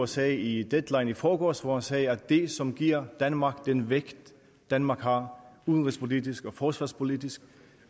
sagde i deadline i forgårs hvor han sagde at det som giver danmark den vægt danmark har udenrigspolitisk og forsvarspolitisk